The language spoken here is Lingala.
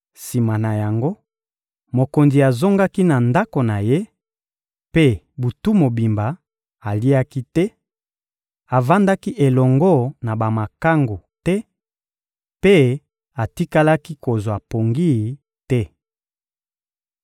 Sima na yango, mokonzi azongaki na ndako na ye; mpe, butu mobimba, aliaki te, avandaki elongo na bamakangu te mpe atikalaki kozwa pongi te.